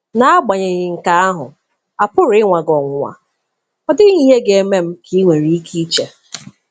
N'agbanyeghị nke ahụ, a pụrụ ịnwa gị ọnwụnwa. 'Ọ dịghị ihe ga-eme m,' ka i nwere ike iche.